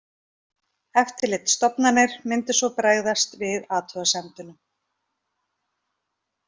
Eftirlitsstofnanir myndu svo bregðast við athugasemdum